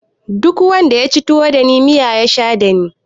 Duk wanda yaci tuwo dani miya ya sha dani